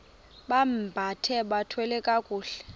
bambathe bathwale kakuhle